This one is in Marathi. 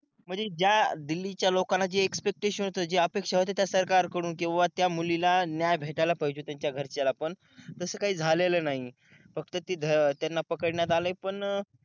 म्हणजे ज्या दिल्ली च्या लोकांना जे एक्सपेक्टशन होत जे अपेक्षा होते त्या सरकार कडून किंवा त्या मुलीला न्याय भेटायला पाहिजे होता त्यांच्या घरच्यांना पण तस काही झालेलं नाही फक्त तिथं त्यांना पकडण्यात आलंय पण अं